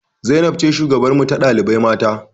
Zainab ce shugabarmu ta ɗalibai mata